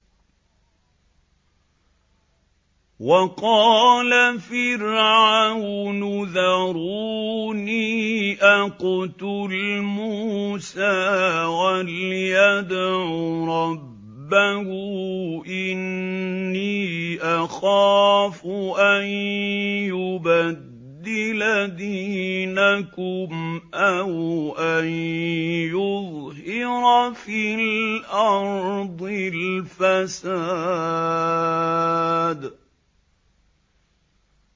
وَقَالَ فِرْعَوْنُ ذَرُونِي أَقْتُلْ مُوسَىٰ وَلْيَدْعُ رَبَّهُ ۖ إِنِّي أَخَافُ أَن يُبَدِّلَ دِينَكُمْ أَوْ أَن يُظْهِرَ فِي الْأَرْضِ الْفَسَادَ